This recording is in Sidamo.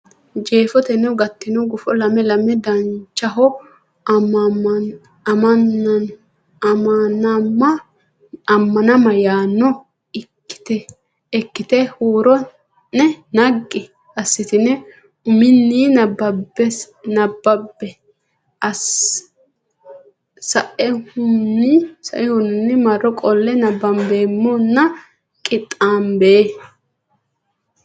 Jeefoteno gattino gufo lame lame Danchaho Ammanama yaanno ikkitine huuro ne naggi assitine uminni nabbambe sa nummo marro qolle nabbambeemmona qixxaabbe.